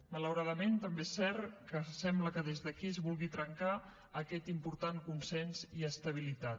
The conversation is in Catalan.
malauradament també és cert que sembla que des d’aquí es vulgui trencar aquest important consens i estabilitat